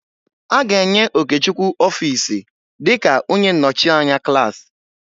A ga-enye Okechukwu ọfiisi dịka onye nnọchianya klaasị.